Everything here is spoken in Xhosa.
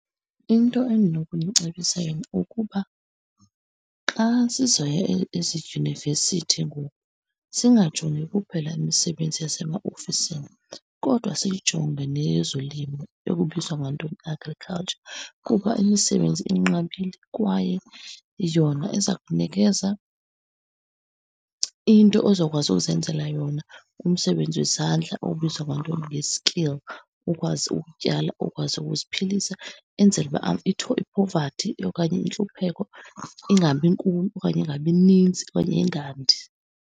Into endinokumcebisa yona ukuba xa sizoya ezidyunivesithi ngoku, singajongi kuphela imisebenzi yasemaofisini kodwa siyijonge neyozolimo, ekubizwa ngantoni, agriculture. Kuba imisebenzi inqabile kwaye yona iza kunikeza into ozokwazi uzenzela yona, umsebenzi wezandla obizwa ngantoni nge-skill. Ukwazi ukutyala, ukwazi ukuziphilisa, enzele uba iphovathi okanye intlupheko ingabinkulu okanye ingabininzi okanye ingandi.